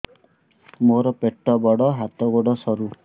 ମୋର ପେଟ ବଡ ହାତ ଗୋଡ ସରୁ